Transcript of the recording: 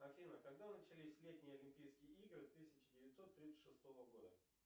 афина когда начались летние олимпийские игры тысяча девятьсот тридцать шестого года